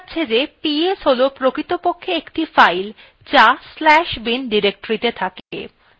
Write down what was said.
দেখা যাচ্ছে ps ps হল প্রকৃতপক্ষে একটি file যা/bin ডিরেক্টরীতে থাকে